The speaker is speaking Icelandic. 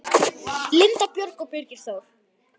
Linda Björg og Birgir Þór.